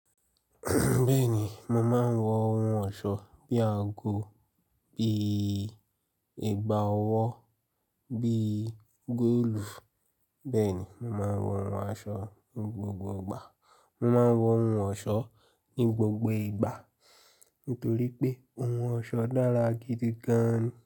Bẹ́ẹ̀ni, mo máa ń wọ ohun ọ̀ṣọ́ bí àgọ, bí ìgbà ọwọ́, bí góòlù. Bẹ́ẹ̀ni, mo máa ń wọ ohun aṣọ ní gbogbo ìgbà. Mo máa ń wọ ohun ọ̀ṣọ́ ní gbogbo ìgbà nítorí pé ohun ọ̀ṣọ́ dára gidi gan.